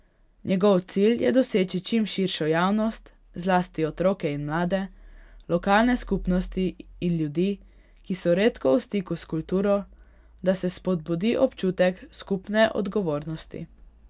Njegov cilj je doseči čim širšo javnost, zlasti otroke in mlade, lokalne skupnosti in ljudi, ki so redko v stiku s kulturo, da se spodbudi občutek skupne odgovornosti.